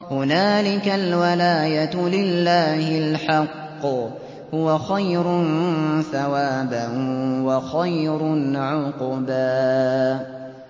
هُنَالِكَ الْوَلَايَةُ لِلَّهِ الْحَقِّ ۚ هُوَ خَيْرٌ ثَوَابًا وَخَيْرٌ عُقْبًا